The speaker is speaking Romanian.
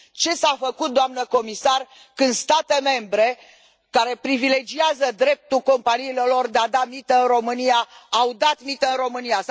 Ce s a făcut, doamnă comisar, când state membre, care privilegiază dreptul companiilor lor de a da mită în România, au dat mită în România?